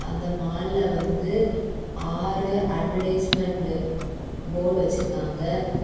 அந்த மால் ல வந்து ஆறு அட்வர்டைஸ்மெண்ட் போர்டு வெச்சிருக்காங்க.